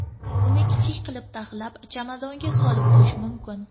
Uni kichik qilib taxlab, chamadonga solib qo‘yish mumkin.